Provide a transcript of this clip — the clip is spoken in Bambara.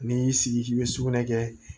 N'i y'i sigi k'i be sugunɛ kɛ